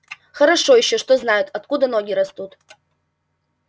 хорошо ещё что знаю откуда ноги растут